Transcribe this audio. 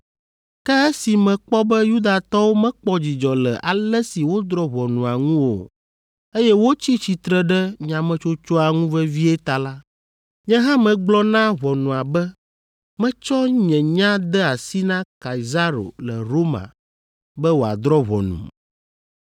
Ke esi mekpɔ be Yudatɔwo mekpɔ dzidzɔ le ale si wodrɔ̃ ʋɔnua ŋu o, eye wotsi tsitsre ɖe nyametsotsoa ŋu vevie ta la, nye hã megblɔ na ʋɔnua be metsɔ nye nya de asi na Kaisaro le Roma be wòadrɔ̃ ʋɔnum.